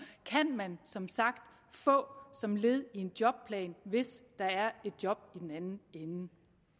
kan man som sagt få som led i en jobplan hvis der er et job i den anden ende